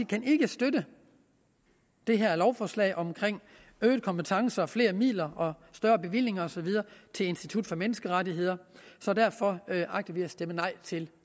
kan ikke støtte det her lovforslag om øgede kompetencer flere midler større bevillinger og så videre til institut for menneskerettigheder derfor agter vi at stemme nej til